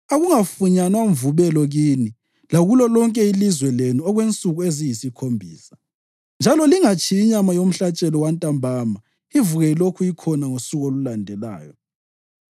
Akungafunyanwa mvubelo kini lakulo lonke ilizwe lenu okwensuku eziyisikhombisa. Njalo lingatshiyi inyama yomhlatshelo wantambama ivuke ilokhu ikhona ngosuku olulandelayo.